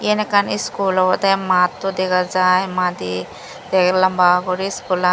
iyen ekkan iskul obodey matto dega jai madi tei lamba guri iskulan.